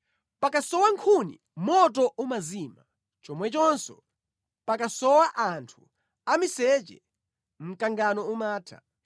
Pakasowa nkhuni, moto umazima; chomwechonso pakasowa anthu amiseche mkangano umatha.